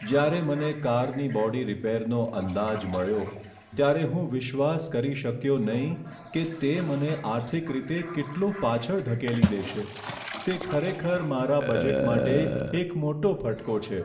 જ્યારે મને કારની બોડી રિપેરનો અંદાજ મળ્યો, ત્યારે હું વિશ્વાસ કરી શક્યો નહીં કે તે મને આર્થિક રીતે કેટલો પાછળ ધકેલી દેશે. તે ખરેખર મારા બજેટ માટે એક મોટો ફટકો છે.